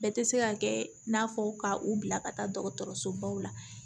Bɛɛ tɛ se ka kɛ i n'a fɔ ka u bila ka taa dɔgɔtɔrɔso baw la